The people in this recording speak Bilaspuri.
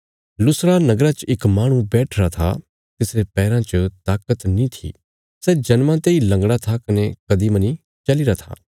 लुस्त्रा नगरा च इक माहणु बैठिरा था तिसरे पैराँ च ताकत नीं थी सै जन्मा तेई लंगड़ा था कने कदीं मनी चलीरा था